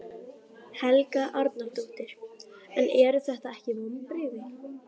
Helga Arnardóttir: En eru þetta ekki vonbrigði?